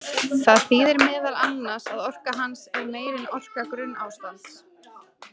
Það þýðir meðal annars að orka hans er meiri en orka grunnástands.